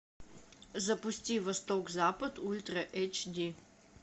запусти восток запад ультра эйч ди